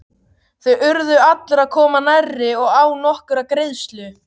Þar urðu allir að koma nærri og án nokkurrar greiðslu.